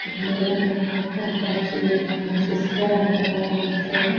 madam ఐతే అక్కడ వచ్చి సిస్టర్ అంటారు --